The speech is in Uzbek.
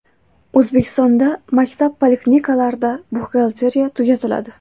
O‘zbekistonda maktab va poliklinikalarda buxgalteriya tugatiladi .